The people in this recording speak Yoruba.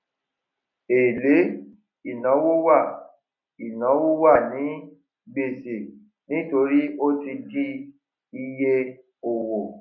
èlé ìnáwó wà ìnáwó wà ní gbèsè nítorí ó ti di iye òwò